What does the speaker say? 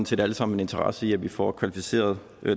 set alle sammen en interesse i at vi får kvalificeret